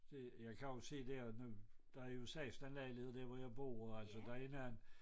Det jeg kan jo se der nu der er jo 16 lejligheder der hvor jeg bor